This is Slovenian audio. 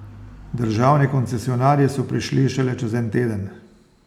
Državni koncesionarji so prišli šele čez en teden.